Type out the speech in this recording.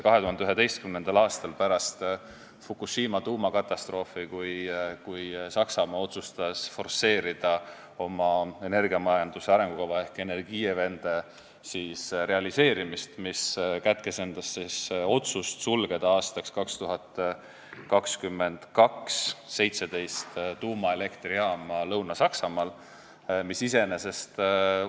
2011. aastal, pärast Fukushima tuumakatastroofi, otsustas Saksamaa forsseerida oma energiamajanduse arengukava ehk Energiewende realiseerimist, mis kätkes endas otsust sulgeda aastaks 2022 Lõuna-Saksamaal 17 tuumaelektrijaama.